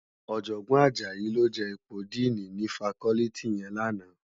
Òjògbòn Ajayi ló je ipó dìní ni fákòlìtí yèn làná